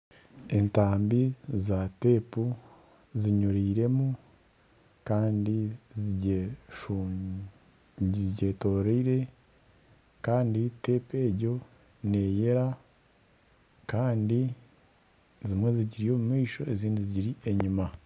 Entambi za tepu zinyuriremu Kandi zigyetoreire Kandi tepu egyo neyera Kandi zimwe zigiri omu maisho ezindi zigiri enyima.